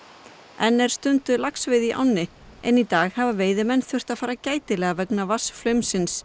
enn er stunduð laxveiði í ánni en í dag hafa veiðimenn þurft að fara gætilega vegna